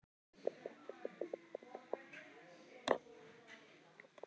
Upp um deild:, Selfoss